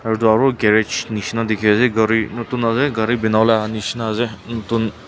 etu aru garage nishi na dikhi ase gari notun ase gari bana wole ahia nishi na ase notun--